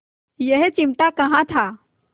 यह चिमटा कहाँ था